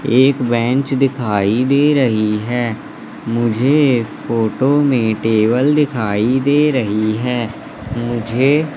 एक बेंच दिखाई दे रही है मुझे इस फोटो में टेबल दिखाई दे रही है मुझे--